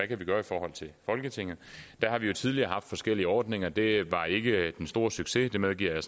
kan gøre i forhold til folketinget der har vi jo tidligere haft forskellige ordninger det var ikke den store succes det medgiver jeg